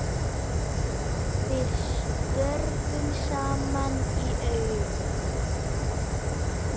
Við störfum saman í Aurum.